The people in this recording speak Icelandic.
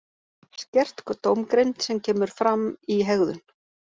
Skert dómgreind sem kemur fram í hegðun.